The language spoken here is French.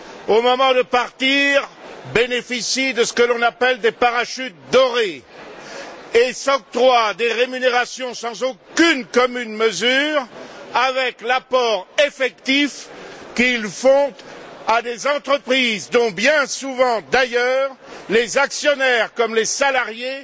Au moment de partir, ils bénéficient de ce que l'on appelle des parachutes dorés et s'octroient des rémunérations sans aucune commune mesure avec l'apport effectif qu'ils font à des entreprises dont, bien souvent d'ailleurs, les actionnaires comme les salariés